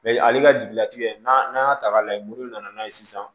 ale ka jigilatigɛ n'an y'a ta k'a lajɛ olu nana n'a ye sisan